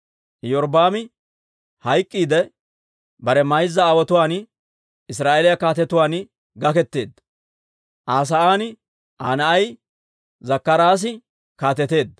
Iyorbbaami hayk'k'iidde, bare mayza aawotuwaan Israa'eeliyaa kaatetuwaan gaketeedda; Aa sa'aan Aa na'ay Zakkaraasi kaateteedda.